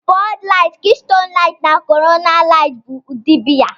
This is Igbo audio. Bud Light, Keystone Light, na Corona Light bụ ụdị biya